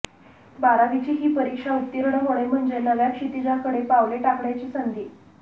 बारावीची ही परीक्षा उत्तीर्ण होणे म्हणजे नव्या क्षितीजाकडे पावले टाकण्याची संधी